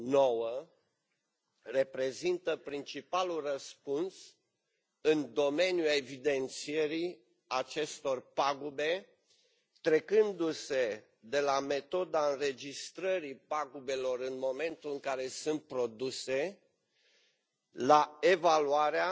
9 reprezintă principalul răspuns în domeniul evidențierii acestor pagube, trecându se de la metoda înregistrării pagubelor în momentul în care sunt produse la evaluarea,